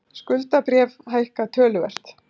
Skuldabréf hækka töluvert